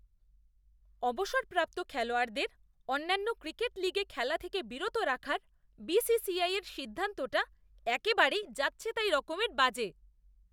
অবসরপ্রাপ্ত খেলোয়াড়দের অন্যান্য ক্রিকেট লীগে খেলা থেকে বিরত রাখার বিসিসিআইয়ের সিদ্ধান্তটা একেবারে যাচ্ছেতাই রকমের বাজে।